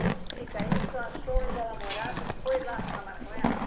Me explica, aí o senhor achou onde ela morava e foi lá falar com ela?